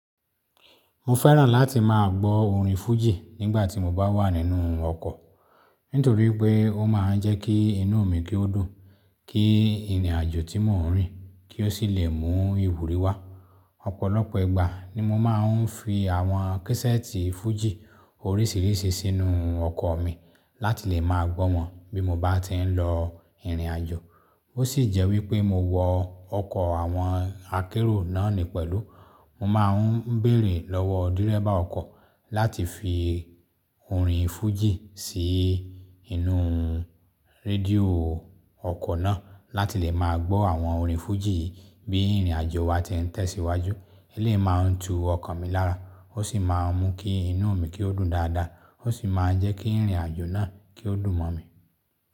Mo fẹ́ràn láti máa gbọ́ orin fújì nígbà tí mo bá wà nínú ọkọ̀, nítorí pé ó máa ń jẹ́ kí inú mi kí ó dùn, kí ìrìnàjò tí mò ń rìn kí ó sì lè mú ìwúrí wá. Ọ̀pọ̀lọpọ̀ ìgbà ni mo máa ń fi àwọn késẹ́ẹ̀tì fújì oríṣiríṣi sínú ọkọ mi láti lè ma gbọ wọn bí mo bá ti ń lọ ìrìnàjò. Ó sì jẹ́ wípé mo wọ ọkọ̀ àwọn akẹ́rù náà ni pẹ̀lú, mo máa ń bèèrè lọ́wọ́ dírẹ́bà ọkọ̀ láti fi orin fújì sí inú rédíò ọkọ̀ náà láti lè máa gbọ́ àwọn orin fújì yìí bí ìrìnàjò wa ti ń tẹ̀síwájú. Eléyi máa ń tù ọkàn mi lára ósì ma mú kí inú mi kí oo dùn dada oo sì ma jẹ kí ìrìnàjò náà kí oo dùn mọ mi.